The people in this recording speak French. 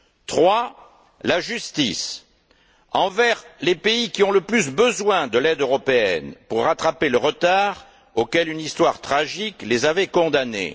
Troisièmement, la justice envers les pays qui ont le plus besoin de l'aide européenne pour rattraper le retard auquel une histoire tragique les avait condamnés.